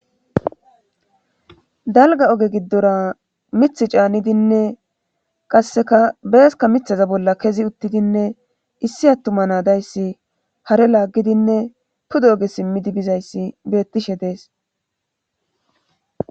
dalga oge giddora mithi caanidinne qasseka beeska mithaza bolla kezi uttidinne issi attuma nadayssi hare laaggidinne puda oge simmidi bizayssi beettishe dees